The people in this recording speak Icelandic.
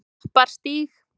Klapparstíg